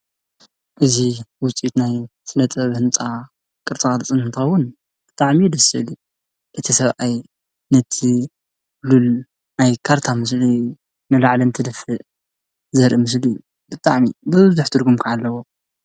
እዙ ውፂኡት ናይ ስለ ጥብ ሕንጣ ቕርጻ ጽንንታውን እጥዕሚ ድሥሊ እቲ ሰብኣይ ነቲ ሉል ናይ ካርታ ምስለዩ ነላዕለን ቲ ድፍእ ዘርኢ ምስልዩ ብጥዕሚ በዝዘኅትርኩም ከዓለዎ።